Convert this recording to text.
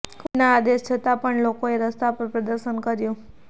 કોર્ટના આદેશ છતાં પણ લોકોએ રસ્તા પર પ્રદર્શન કર્યું